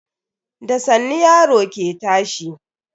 Da sannu yaro ke tashi.